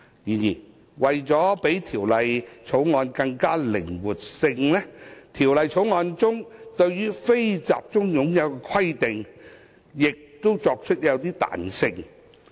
然而，為提升靈活性，《條例草案》對"非集中擁有"的規定亦作出一些彈性安排。